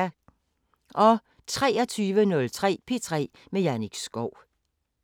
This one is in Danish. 23:03: P3 med Jannik Schow